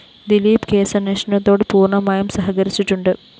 ദിലീപ് കേസന്വേഷണത്തോട് പൂര്‍ണമായും സഹകരിച്ചിട്ടുണ്ട്